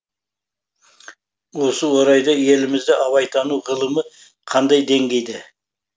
осы орайда елімізде абайтану ғылымы қандай деңгейде